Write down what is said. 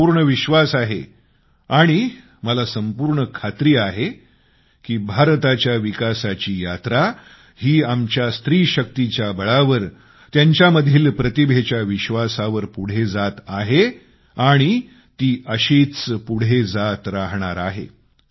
माझा पूर्ण विश्वास आहे आणि माझी दृढ मान्यता आहे की भारताच्या विकासाचा प्रवास हा आमच्या स्त्रीशक्तीच्या बळावर त्यांच्यामधील प्रतिभेच्या विश्वासावर पुढे जात राहणार आहे